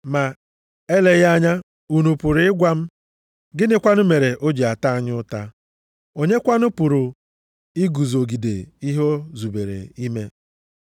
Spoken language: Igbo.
Ma eleghị anya unu pụrụ ịgwa m, “Gịnị kwanụ mere o ji ata anyị ụta? Onye kwanụ pụrụ iguzogide ihe o zubere ime?”